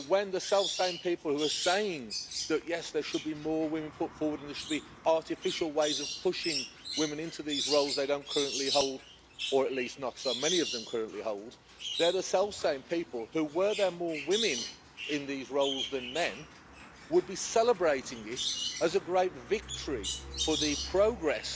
The self same people who say that there should be more women put forward and there should be artificial ways of pushing women into these roles they don't currently hold or at least not so many of them currently hold are the same people who, were there more women in these roles than men, would be celebrating it as a great victory for the progress